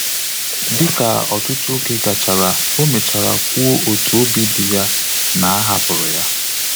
Dịka ọtụtụ oge gachara, ọ mechara kwuo otu obi dị ya na a hapụrụ ya